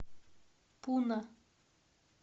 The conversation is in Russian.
пуна